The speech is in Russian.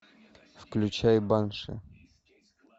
включай банши